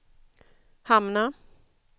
hamna